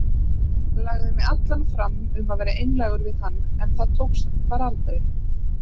Lagði mig allan fram um að vera einlægur við hann en það tókst bara aldrei.